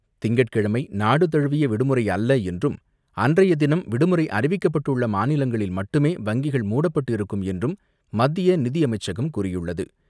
திங்கட்கிழமை நாடு தழுவிய விடுமுறை இல்லை என்றும், அன்றைய தினம் விடுமுறை அறிவிக்கப்பட்டுள்ள மாநிலங்களில் மட்டுமே வங்கிகள் மூடப்பட்டு இருக்கும் என்றும் மத்திய நிதியமைச்சகம் கூறியுள்ளது.